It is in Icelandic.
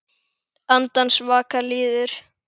Andans vaka líður.